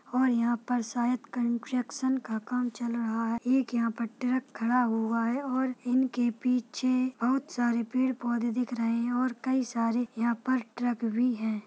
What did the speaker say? और यहाँ पर शायद कन्स्ट्रक्शन का काम चल रहा है| एक यहाँ पे ट्रक खड़ा हुआ है और इनके पीछे बहुत सारे पेड़-पौधे दिख रहे हैं और कई सारे यहाँ पर ट्रक भी है ।